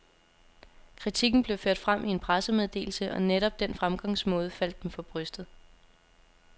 Kritikken blev ført frem i en pressemeddelse, og netop den fremgangsmåde faldt dem for brystet.